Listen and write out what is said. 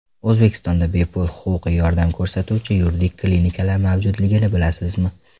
O‘zbekistonda bepul huquqiy yordam ko‘rsatuvchi yuridik klinikalar mavjudligini bilasizmi?.